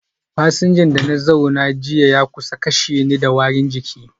Fasinjan da na zauna jiya ya kusa kashe ni da warin jiki